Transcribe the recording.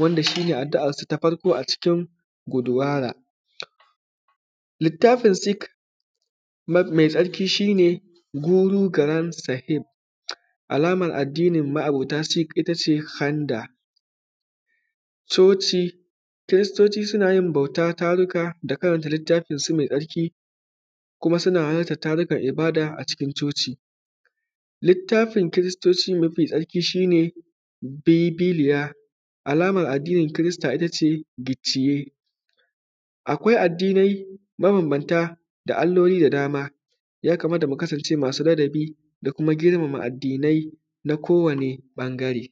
wanda shi ne addu’ansu ta farko a cikin guduwara litaffin sik me tsarki shi ne guru karan sahir alamomin addinin ma’abota sik shi ne kanda coci, kiristoci suna yin bauta taruka da karanta littafinsu me tsarki kuma suna hana tarukan ibada cikin coci, litaffin kiristoci me tsarki shi ne bebeliya, alamomin addinin kirista ita ce biciye. Akwai addinai mabanbanta da alloli da dama ya kamata mu kasance ladabi da kuma girmama addinai na ko wani ɓangare.